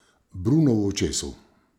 Bruno v očesu.